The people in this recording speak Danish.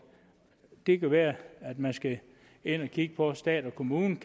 det kan være at man skal ind og kigge på stat og kommune